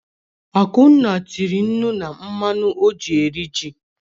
Akunna tiri nnu na mmanụ ọ ji rie ji.